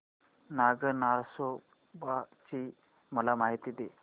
नाग नरसोबा ची मला माहिती दे